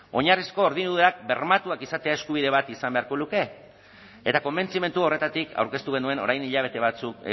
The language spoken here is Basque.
oinarrizko hornidurak bermatuak izatea eskubide bat izan beharko luke eta konbentzimendu horretatik aurkeztu genuen orain hilabete batzuk